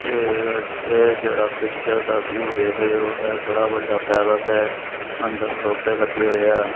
ਇਹ ਇਹ ਜਿਹੜਾ ਪਿਕਚਰ ਦਾ ਵਿਊ ਦੇਖ਼ ਦੇ ਹੋ ਇਹ ਬੜਾ ਵੱਡਾ ਪੈਲੇਸ ਹੈ ਅੰਦਰ ਸੋਫ਼ੇ ਲੱਗੇ ਹੋਏਆ।